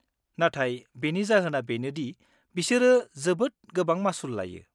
-नाथाय बेनि जाहोना बेनो दि बिसोरो जोबोद गोबां मासुल लायो।